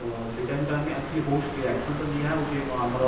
ତ ସେଇଟା ବି ତ ଆମେ actually ବହୁତ action ତ ନିଆ ହଉଛି ଆମର